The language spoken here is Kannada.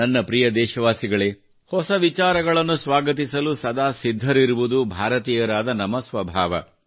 ನನ್ನ ಪ್ರಿಯ ದೇಶವಾಸಿಗಳೇ ಹೊಸ ವಿಚಾರಗಳನ್ನು ಸ್ವಾಗತಿಸಲು ಸದಾ ಸಿದ್ಧರಿರುವುದು ಭಾರತೀಯರಾದ ನಮ್ಮ ಸ್ವಭಾವ